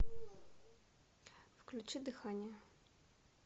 включи дыхание